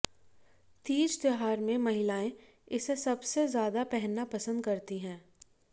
तीज त्यौहार में महिलाएं इसे सबसे ज्यादा पहनना पसंद करती हैं